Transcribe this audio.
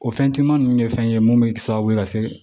O fɛn timinan ninnu ye fɛn ye mun bɛ kɛ sababu ye ka se